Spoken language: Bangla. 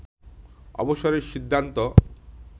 অবসরের সিদ্ধান্ত